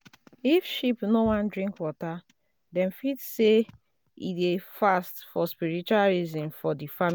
if sheep no wan drink waterdem fit say e dey fast for spiritual reasons for the family